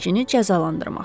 Qəzetçini cəzalandırmaq.